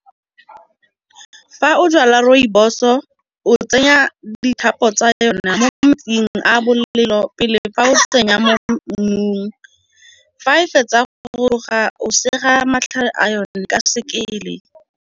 Fa o jala rooibos o tsenya tsa yona mo metsing a bolelo pele fa o tsenya mo mmung. Fa e fetsa go raya gore ga o sega matlhare a yone ka sekele.